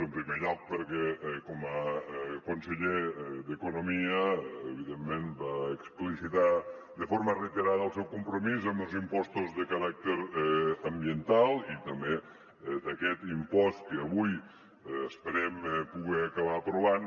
en primer lloc perquè com a conseller d’economia evidentment va explicitar de forma reiterada el seu compromís amb els impostos de caràcter ambiental i també d’aquest impost que avui esperem poder acabar aprovant